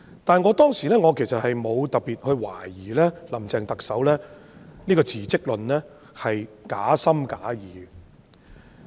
不過，我當時並無特別懷疑特首"林鄭"的辭職論是假情假義。